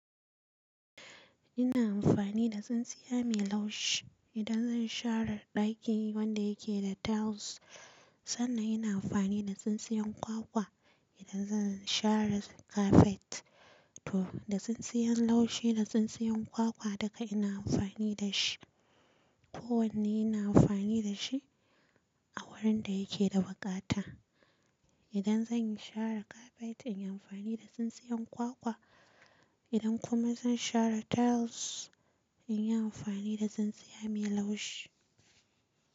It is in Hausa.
Ina amfani da tsintsiya mai laushi idan zan share ɗaki wanda yake da tiles. Sannan ina amfani da tsintsiyar kwakwa idan zan share kafet. To da tsintsiyan laushi da tsintsiyan kwakwa duka ina amfani da shi. Ko wanne ina amfani da shi a wurin da yake da buƙata. Idan zan share kafet in yi amfani da tsintsiyan kwakwa. Idan kuma zan share tiles, in yi amfani da tsintsiya mai laushi.